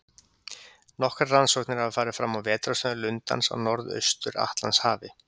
Nokkrar rannsóknir hafa farið fram á vetrarstöðvum lundans á Norðaustur-Atlantshafi.